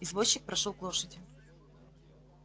извозчик прошёл к лошади